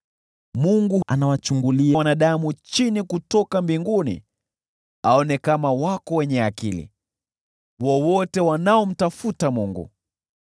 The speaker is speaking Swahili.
Mungu anawachungulia wanadamu chini kutoka mbinguni aone kama wako wenye akili, wowote wanaomtafuta Mungu.